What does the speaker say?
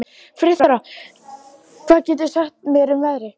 Friðþóra, hvað geturðu sagt mér um veðrið?